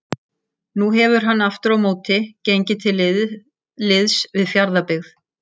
Nú hefur hann aftur á móti gengið til liðs við Fjarðabyggð.